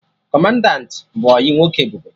Kọmandanti bụ ọyị nwoke Ebube